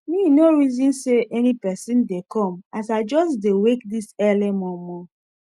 me nor reson say any pesin dey come as i just dey wake this early momo